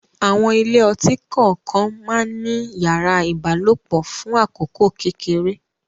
Àwọn ilé ọtí kọ̀ọ̀kan má ń ní yàrá ìbálòpọ̀ fún àkókò kékeré